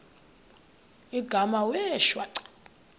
igama wee shwaca